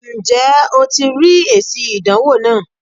Ǹ jé o ti rí èsì ìdánwò náà